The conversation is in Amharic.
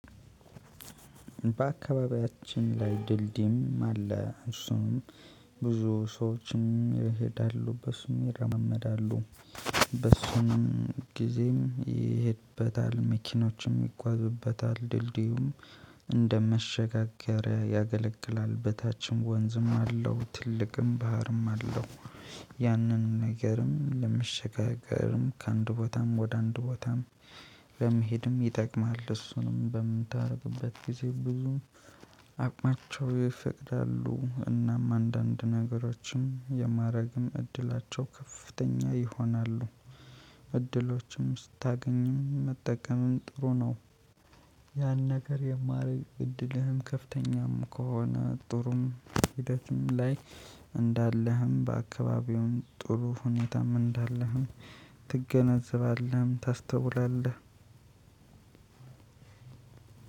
በአካባቢያችን ላይ ድልድይም አለ እሱንም ብዙ ሰዎችም ይሄዳሉ በሱም ይረማመዳሉ። በሱም ጊዜም ይሄድበታል መኪኖችም ይጓዙበታል ድልድዩም እንደ መሸጋገሪያ ያገለግላል። በታችም ወንዝም አለው ትልቅም ባህርም አለው። ያንን ነገርም ለመሸጋገርም ከአንድ ቦታም ወደ አንድ ቦታም በመሄድም ይጠቅማል። እሱንም በምታደርጉበት ጊዜ ብዙም አቅማቸው ይፈቅዳሉ እናም አንዳንድ ነገሮችን የማድረግም እድላቸው ከፍተኛ ይሆናሉ። እድሎችም ስታገኝም መጠቀምም ጥሩ ነው። ያን ነገር የማደርግ እድልህም ከፍተኛም ከሆነ ጥሩም ሂደትም ላይ እንዳለህም በአካባቢውም ጥሩ ሁኔታም እንዳለህም ትገነዘባለህ ታስተውላለህ።